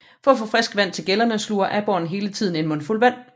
For at få frisk vand til gællerne sluger aborren hele tiden en mundfuld vand